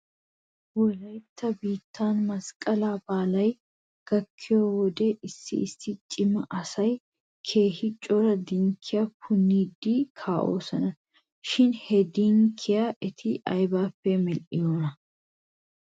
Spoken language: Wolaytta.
Wolaytta biittaara masqqalaa baalay gakkiyoo wodiya issi issi cima asay keehi cora dinkkiyaa puniidi kaa'oosona shin he dinkkiyaa eti aybippe medhdhiyoonaa?